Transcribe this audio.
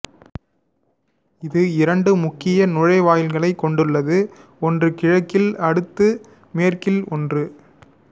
இது இரண்டு முக்கிய நுழைவாயில்களைக் கொண்டுள்ளது ஒன்று கிழக்கில் அடுத்து மேற்கில் ஒன்று